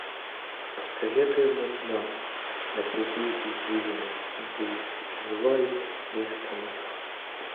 посоветуй мне кино напряги извилины брюс и ллойд без тормозов